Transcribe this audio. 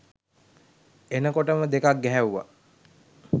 එනකොටම දෙකක් ගැහැව්වා